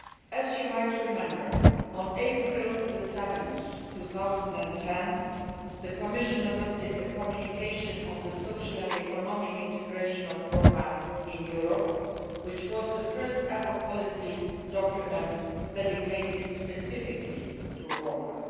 As you might remember, on 7 April 2010, the Commission adopted a communication on the social and economic integration of Roma in Europe, which was the first ever policy document dedicated specifically to Roma.